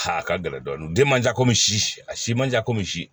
A ka gɛlɛn dɔɔni manjan ko si a si man ja komi